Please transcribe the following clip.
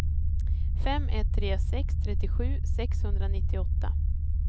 fem ett tre sex trettiosju sexhundranittioåtta